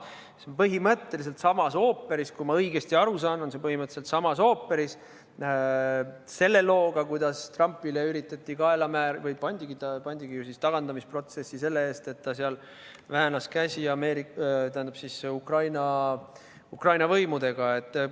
See on põhimõtteliselt samast ooperist, kui ma õigesti aru saan, põhimõtteliselt samast ooperist nagu see lugu, kuidas Trumpile üritati kaela määrida või pandigi ta tagandamisprotsessi selle eest, et ta väänas Ukraina võimudel käsi.